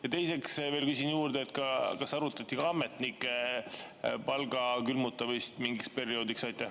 Ja teiseks veel küsin juurde, kas arutati ka ametnike palga külmutamist mingiks perioodiks?